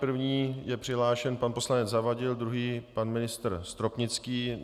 První je přihlášen pan poslanec Zavadil, druhý pan ministr Stropnický.